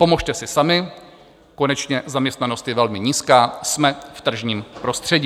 Pomozte si sami, konečně zaměstnanost je velmi nízká, jsme v tržním prostředí.